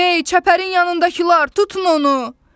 Hey, çəpərin yanındakılar, tutun onu!